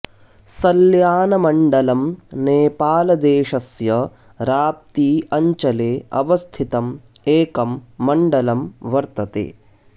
सल्यानमण्डलम् नेपालदेशस्य राप्ती अञ्चले अवस्थितं एकं मण्डलं वर्तते